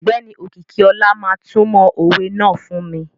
Ọgbẹni Okikiola ma tumo owè náà fun mi.